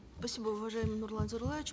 спасибо уважаемый нурлан зайроллаевич